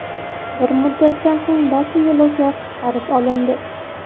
Bir muddatdan so‘ng barcha yo‘lovchilar qutqarib olindi.